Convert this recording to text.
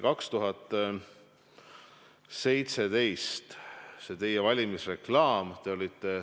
Kristen Michal, täpsustav küsimus, palun!